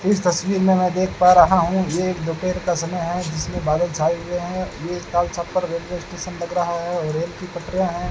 इस तस्वीर में मैं देख पा रहा हूं ये एक दोपहर का समय है जिसमें बादल छाए हुए हैं ये रेलवे स्टेशन लग रहा है और रेल की पटरियां हैं।